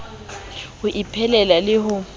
ho iphelela le ho e